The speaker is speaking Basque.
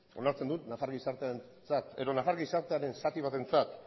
onartzen dut nafar gizartearentzat edo nafar gizartearen zati batentzat